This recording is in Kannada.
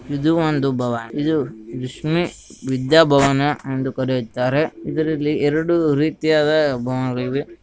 ಇದು ಒಂದು ಭವನ ಇದು ವಿದ್ಯಾ ಭವನ ಎಂದು ಕರೆಯುತ್ತಾರೆ ಇದರಲ್ಲಿ ಎರಡು ರೀತಿಯಾದ ಭವನಗಳಿವೆ .